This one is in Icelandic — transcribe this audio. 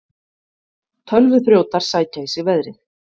Tölvuþrjótar sækja í sig veðrið